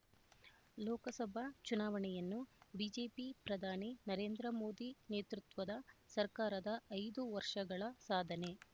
ಲೋಕಸಭಾ ಚುನಾವಣೆಯನ್ನು ಬಿಜೆಪಿ ಪ್ರಧಾನಿ ನರೇಂದ್ರಮೋದಿ ನೇತೃತ್ವದ ಸರ್ಕಾರದ ಐದು ವರ್ಷಗಳ ಸಾಧನೆ